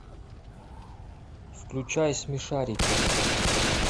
включай смешарики